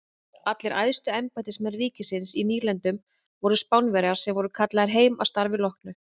Allir æðstu embættismenn ríkisins í nýlendunum voru Spánverjar sem voru kallaðir heim að starfi loknu.